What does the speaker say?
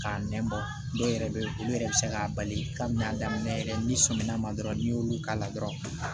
K'a nɛn bɔ dɔw yɛrɛ bɛ yen olu yɛrɛ bɛ se k'a bali ka minɛn daminɛ yɛrɛ n'i sɔmina ma dɔrɔn n'i y'olu k'a la dɔrɔn